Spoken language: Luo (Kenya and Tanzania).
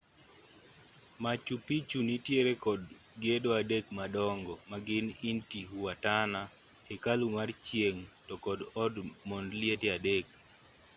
machu picchu nitiere kod gedo adek madongo ma gin intihuatana hekalu mar chieng' to kod od mond liete adek